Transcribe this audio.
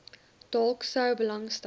dalk sou belangstel